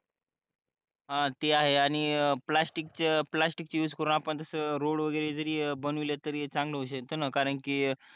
हा ते आहे आणि प्लास्टिकच्या युज करून आपण रोड वगैरे जरी बनविले तर चांगला होऊ शकतो ना कारण की